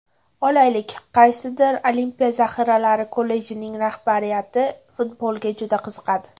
Olaylik, qaysidir Olimpiya zaxiralari kollejining rahbariyati futbolga juda qiziqadi.